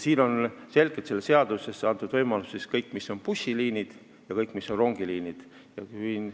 Selles seaduses on selgelt antud see võimalus kõigile bussiliinidele ja kõigile rongiliinidele.